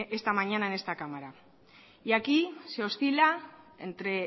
esta mañana en esta cámara aquí se oscila entre